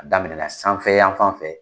A daminɛna sanfɛ yanfan fɛ